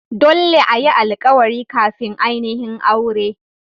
Dolle a yi alkawari kafin ainihin aure.